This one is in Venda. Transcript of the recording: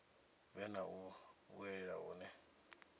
vhe na u vhuelwa hune